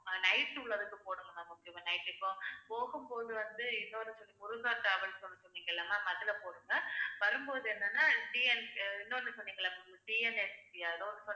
அஹ் night உள்ளதுக்கு போடுங்க ma'am முக்கியமா night இப்ப போகும்போது வந்து இன்னொரு சொன்னீ~ முருகா டிராவல்ஸ் ஒண்ணு சொன்னீங்கள்ல ma'am அதில போடுங்க வரும்போது என்னன்னா TN அஹ் இன்னொன்னு சொன்னீங்கல்ல ma'amTNST யா எதோ ஒண்ணு